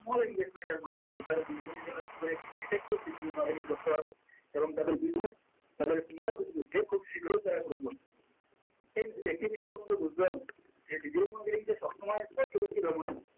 small invesment এর মাধ্যমে তারা business এর জন্য কি করে একটি effective digital marketing করতে পারবে এবং তাদের business তাদের small business কে খুব শিগ্রই তারা grow করবে friends একটি বিষয় তোমাকে বুঝতে হবে যে digital marketing যে সবসময় cost effective এমন নয়